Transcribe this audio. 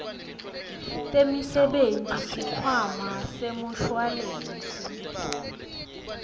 temisebenti sikhwama semshuwalensi